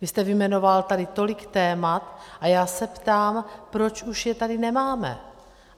Vy jste vyjmenoval tady tolik témat a já se ptám, proč už je tady nemáme.